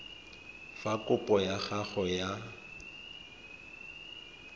fa kopo ya gago ya